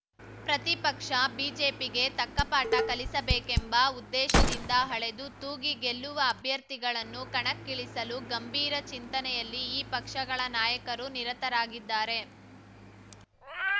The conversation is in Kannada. ಪ್ರತಿಪಕ್ಷ ಬಿಜೆಪಿಗೆ ತಕ್ಕಪಾಠ ಕಲಿಸಬೇಕೆಂಬ ಉದ್ದೇಶದಿಂದ ಅಳೆದು ತೂಗಿ ಗೆಲ್ಲುವ ಅಭ್ಯರ್ಥಿಗಳನ್ನು ಕಣಕ್ಕಿಳಿಸಲು ಗಂಭೀರ ಚಿಂತನೆಯಲ್ಲಿ ಈ ಪಕ್ಷಗಳ ನಾಯಕರು ನಿರತರಾಗಿದ್ದಾರೆ